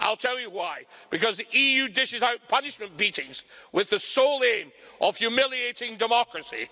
I'll tell you why because the EU dishes out punishment beatings with the sole aim of humiliating democracy.